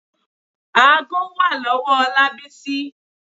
Aago wà lọ́wọ́ Ọlábísí.